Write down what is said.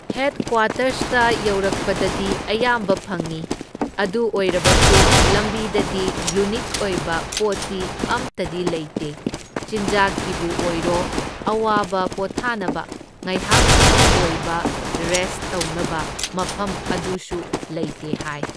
ꯍꯦꯗꯀ꯭ꯋꯥꯇꯔꯁꯇ ꯌꯧꯔꯛꯄꯗꯗꯤ ꯑꯌꯥꯝꯕ ꯐꯪꯢ, ꯑꯗꯨ ꯑꯣꯏꯔꯕꯁꯨ ꯂꯝꯕꯤꯗꯗꯤ ꯌꯨꯅꯤꯛ ꯑꯣꯏꯕ ꯄꯣꯠꯇꯤ ꯑꯝꯇꯗꯤ ꯂꯩꯇꯦ, ꯆꯤꯟꯖꯥꯛꯀꯤꯕꯨ ꯑꯣꯏꯔꯣ ꯑꯋꯥꯕ ꯄꯣꯊꯥꯅꯕ ꯉꯥꯏꯍꯥꯛꯇꯪꯒꯤ ꯑꯣꯏꯕ ꯔꯦꯁꯠ ꯇꯧꯅꯕ ꯃꯐꯝ ꯑꯗꯨꯁꯨ ꯂꯩꯇꯦ ꯍꯥꯏ꯫